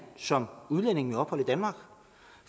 som udlænding med ophold i danmark